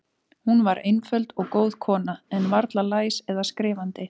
Hún var einföld og góð kona, en varla læs eða skrifandi.